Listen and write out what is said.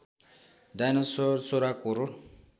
dinosaur १६ crore